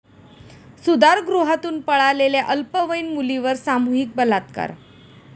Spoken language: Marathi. सुधारगृहातून पळालेल्या अल्पवयीन मुलीवर सामूहिक बलात्कार